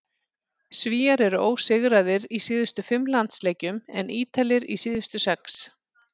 Svíar eru ósigraðir í síðustu fimm landsleikjum en Ítalir í síðustu sex.